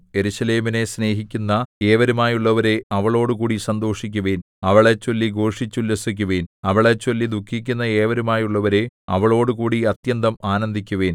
യെരൂശലേമിനെ സ്നേഹിക്കുന്ന ഏവരുമായുള്ളവരേ അവളോടുകൂടി സന്തോഷിക്കുവിൻ അവളെച്ചൊല്ലി ഘോഷിച്ചുല്ലസിക്കുവിൻ അവളെച്ചൊല്ലി ദുഃഖിക്കുന്ന ഏവരുമായുള്ളവരേ അവളോടുകൂടി അത്യന്തം ആനന്ദിക്കുവിൻ